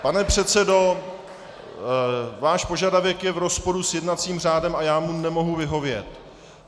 Pane předsedo, váš požadavek je v rozporu s jednacím řádem a já mu nemohu vyhovět.